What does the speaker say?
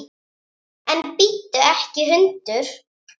En bíttu ekki hundur!